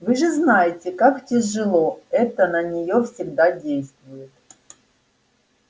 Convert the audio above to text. вы же знаете как тяжело это на неё всегда действует